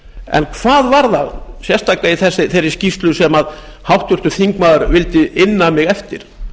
en hvað var það sérstaklega í þeirri skýrslu sem háttvirtur þingmaður sérstaklega vildi inna mig eftir